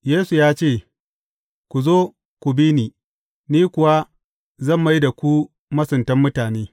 Yesu ya ce, Ku zo, ku bi ni, ni kuwa zan mai da ku masuntan mutane.